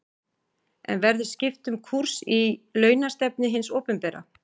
En verður skipt um kúrs í launastefnu hins opinbera?